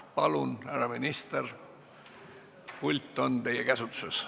Palun, härra minister, pult on teie käsutuses!